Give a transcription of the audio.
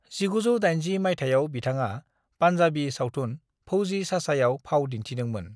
1980 माइथायाव बिथाङा पान्जाबी सावथुन फौजी चाचायाव फाव दिनथिदोंमोन।